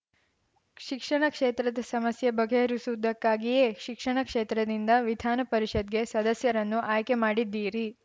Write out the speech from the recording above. ಶಿಕ್ಷಣ ಕ್ಷೇತ್ರದ ಸಮಸ್ಯೆ ಬಗೆಹರಿಸುವುದಕ್ಕಾಗಿಯೇ ಶಿಕ್ಷಣ ಕ್ಷೇತ್ರದಿಂದ ವಿಧಾನ ಪರಿಷತ್‌ಗೆ ಸದಸ್ಯರನ್ನು ಆಯ್ಕೆ ಮಾಡಿದ್ದೀರಿ